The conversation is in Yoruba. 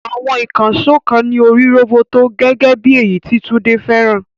Àwọn ìkànṣó kan ní orí roboto, gẹ́gẹ́ bí èyí tí Tunde fẹ́ràn.